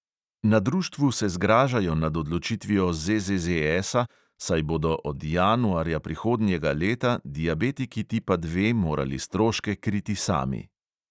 Na društvu se zgražajo nad odločitvijo ZZZS-a, saj bodo od januarja prihodnjega leta diabetiki tipa dva morali stroške kriti sami.